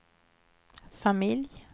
familj